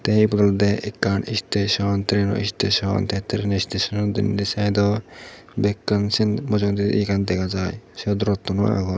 the ibot olode ekkan station traino isteson te traino isteson ano denedi side ot bekkani se mujungedi yea gan dega jay sut rottun u agon.